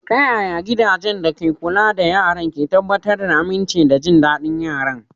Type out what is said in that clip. Ta yaya gidajen kula da yaran ke tabbatar da aminci da jin daɗin yaran?